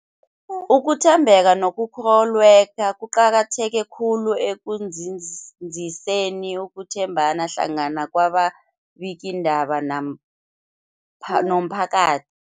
Ukuthembeka nokukholweka kuqakatheke khulu ekunzinziseni ukuthembana hlangana kwababikiindaba nampa nomphaka